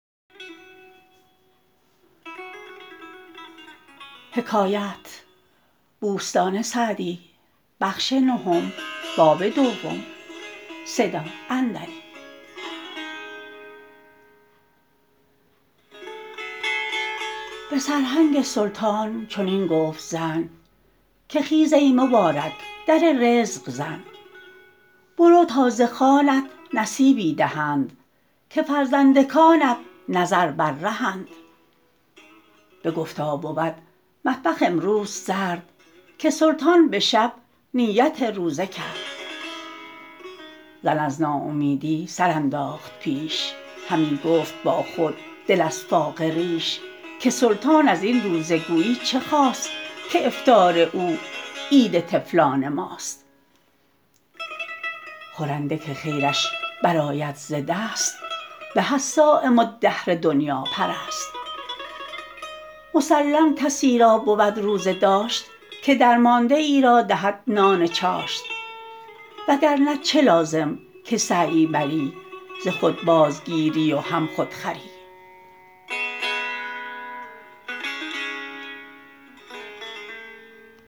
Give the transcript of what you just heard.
به سرهنگ سلطان چنین گفت زن که خیز ای مبارک در رزق زن برو تا ز خوانت نصیبی دهند که فرزندکانت نظر بر رهند بگفتا بود مطبخ امروز سرد که سلطان به شب نیت روزه کرد زن از ناامیدی سر انداخت پیش همی گفت با خود دل از فاقه ریش که سلطان از این روزه گویی چه خواست که افطار او عید طفلان ماست خورنده که خیرش برآید ز دست به از صایم الدهر دنیاپرست مسلم کسی را بود روزه داشت که درمانده ای را دهد نان چاشت وگرنه چه لازم که سعیی بری ز خود بازگیری و هم خود خوری